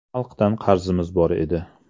Xalqdan qarzimiz bor edi.